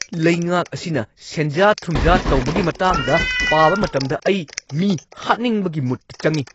ꯂꯩꯉꯥꯛ ꯑꯁꯤꯅ ꯁꯦꯟꯖꯥ-ꯊꯨꯝꯖꯥ ꯇꯧꯕꯒꯤ ꯃꯇꯥꯡꯗ ꯄꯥꯕ ꯃꯇꯝꯗ ꯑꯩ ꯃꯤ ꯍꯥꯠꯅꯤꯡꯕꯒꯤ ꯃꯨꯗꯇ ꯆꯪꯉꯤ꯫